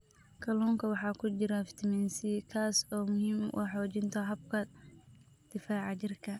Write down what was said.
Kalluunka waxaa ku jira fitamiin C, kaas oo muhiim u ah xoojinta habka difaaca jirka.